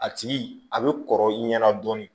A tigi a bɛ kɔrɔ i ɲɛna dɔɔnin